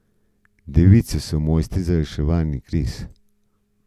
Device so mojstri za reševanje kriz.